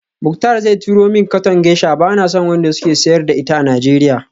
Muktar zai turo min katon geisha, bana son wanda suke siyar da ita a Nigeria